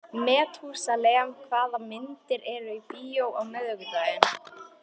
Methúsalem, hvaða myndir eru í bíó á miðvikudaginn?